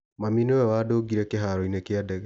Mami nĩwe wandũngire kĩharo-inĩ kĩa ndege.